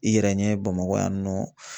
I yɛrɛ ɲɛ Bamakɔ yan nɔ.